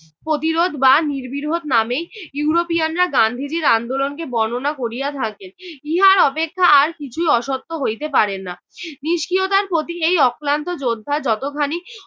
প্রতিরোধ বা নির্বিরোধ নামেই ইউরোপিয়ানরা গান্ধীজির আন্দোলনকে বর্ণনা করিয়া থাকেন। ইহার অপেক্ষা আর কিছুই অসত্য হইতে পারে না। নিস্ক্রিয়তার প্রতি এই অক্লান্ত যোদ্ধার যতখানি